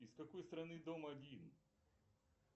из какой страны дом один